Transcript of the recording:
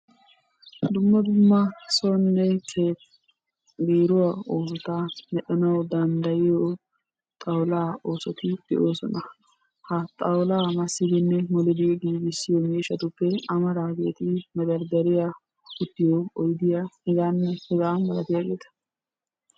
Ha dumma dumma sohuwan biiruwa oosota medhanawu dandayiyo xawulaa oosoti de"oosona. Ha xawulaa massidinne molidi giigissiyo miishshatuppe amaraageeti mederderiya, uttiyo oyidiya hegaanne hegaa malatiyageeta.